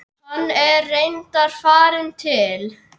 Hann er reyndar farinn til